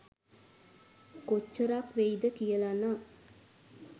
කොච්චරක් වෙයිද කියලනම්.